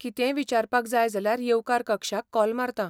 कितेंय विचारपाक जाय जाल्यार येवकार कक्षाक कॉल मारतां.